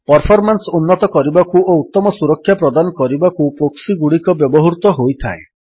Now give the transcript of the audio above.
performance ଉନ୍ନତ କରିବାକୁ ଓ ଉତ୍ତମ ସୁରକ୍ଷା ପ୍ରଦାନ କରିବାକୁ ପ୍ରୋକ୍ସିଗୁଡ଼ିକ ବ୍ୟବହୃତ ହୋଇଥାଏ